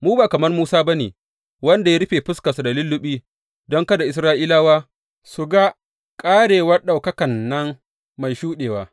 Mu ba kamar Musa ba ne, wanda ya rufe fuskarsa da lulluɓi, don kada Isra’ilawa su ga ƙarewar ɗaukakan nan mai shuɗewa.